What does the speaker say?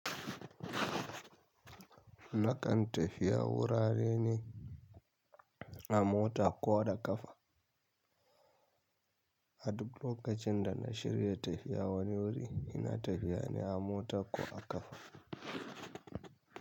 Nakan tafiya wurare ne a mota ko da kafa. A duk lokacin da na shirya tafiya wani wuri ina tafiya ne a mota ko a kafa.